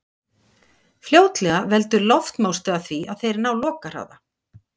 fljótlega veldur loftmótstaða því að þeir ná lokahraða